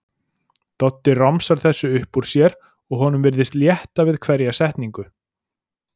Doddi romsar þessu upp úr sér og honum virðist létta við hverja setningu.